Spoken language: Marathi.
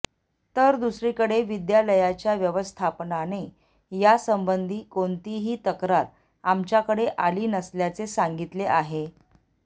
तर दुसरीकडे विद्यालयाच्या व्यवस्थापनाने यासंबंधी कोणतीही तक्रार आमच्याकडे आली नसल्याचे सांगितले आहे